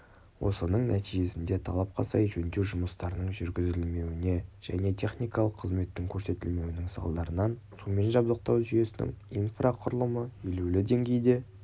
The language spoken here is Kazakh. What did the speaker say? осының нәтижесінде талапқа сай жөндеу жұмыстарының жүргізілмеуіне және техникалық қызметтің көрсетілмеуінің салдарынан сумен жабдықтау жүйесінің инфрақұрылымы елеулі деңгейде